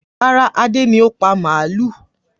Rárá, Adé ni ó pa màlúù.